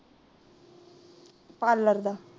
Parlour the.